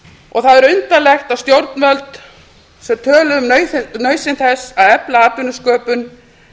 og það er undarlegt að stjórnvöld sem töluðu um nauðsyn þess að efla atvinnusköpun